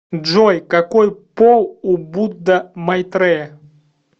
джой какой пол у будда майтрея